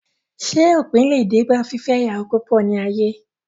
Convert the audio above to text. Ṣé òpin le dé bá fífẹ́ ìyàwó púpọ̀ ní ayé?